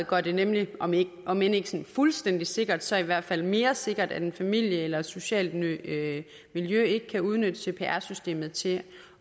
gør det nemlig om ikke om ikke fuldstændig sikkert så i hvert fald mere sikkert at en familie eller et socialt miljø miljø ikke kan udnytte cpr systemet til